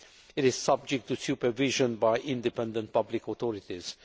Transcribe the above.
It is subject to supervision by independent public authorities.